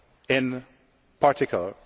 in particular.